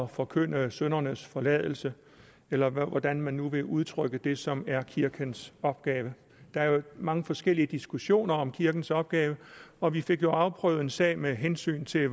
forkynde syndernes forladelse eller hvordan man nu vil udtrykke det som er kirkens opgave der er jo mange forskellige diskussioner om kirkens opgave og vi fik jo afprøvet en sag med hensyn til